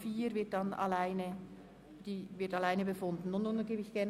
Über den Antrag 4 wird anschliessend separat befunden.